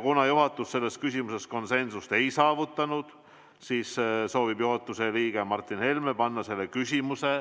Kuna juhatus selles küsimuses konsensust ei saavutanud, siis soovib juhatuse liige Martin Helme panna selle küsimuse